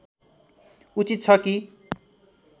उचित छ कि